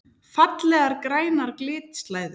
Fallegar grænar glitslæður!